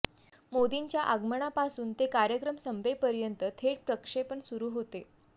मोदींच्या आगमनापासून ते कार्यक्रम संपेपर्यंत थेट प्रक्षेपण सुरू होते